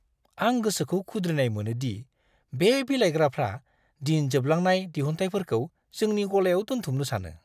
आं गोसोखौ खुद्रिनाय मोनो दि बे बिलाइग्राफ्रा दिन जोबलांनाय दिहुनथायफोरखौ जोंनि गलायाव दोनथुमनो सानो!